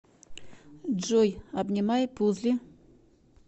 джой обнимай пузли